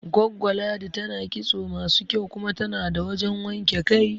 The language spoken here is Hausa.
Goggo Ladi tana kitso masu kyau kuma tana da wajan wanke kai